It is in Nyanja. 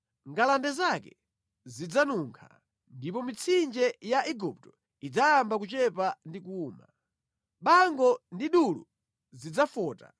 Ngalande zake zidzanunkha; ndipo mitsinje ya Igupto idzayamba kuchepa ndi kuwuma. Bango ndi dulu zidzafota,